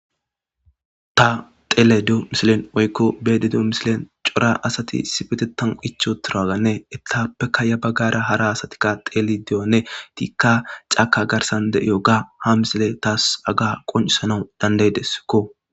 Ta dhelayda diyo missilen woyko be'ayda diyo missiliyan c'ora asati issipetetan ichiutiroganne etapeka ya bagara hara asatika dhelidi diyogane etika c'aka garsan de'iyoga ha missiley tas haga qonc'isanw danda'desko.